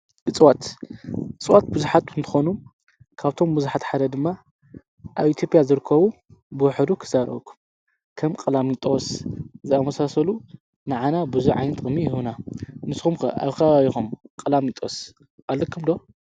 እፅዋት-እፅዋት ብዙሓት እንትኾኑ ካብቶም ብዙሓት ሓደ ድማ ኣብ ኢትዮጵያ ዝርከቡ ብውሕዱ ኽዛረበኩም፡፡ ከም ቀላሚጦስ ዝኣመሳሰሉ ንዓና ብዙሕ ዓይነት ጥቕሚ ይህቡና፡፡ ንስኹምከ ኣብ ከባቢኹም ቀላሚጦስ ኣለኩም ዶ?